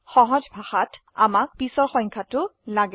সহজ ভাষাত আমাক পিছৰ সংখ্যাটো লাগে